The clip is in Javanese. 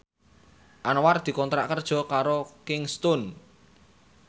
Anwar dikontrak kerja karo Kingston